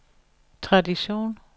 tradition